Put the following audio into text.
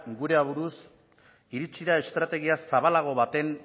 gure aburuz iritsi da estrategia zabalago baten